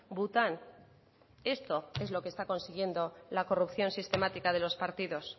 bután esto es lo que está consiguiendo la corrupción sistemática de los partidos